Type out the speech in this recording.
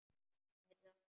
Heyrðu annars.